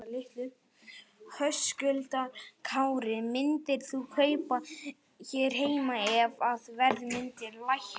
Höskuldur Kári: Myndir þú kaupa hér heima ef að verð myndi lækka?